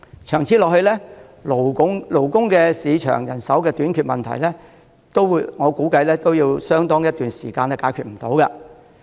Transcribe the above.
長此下去，勞工市場人手短缺的問題，我估計相當一段時間也解決不到。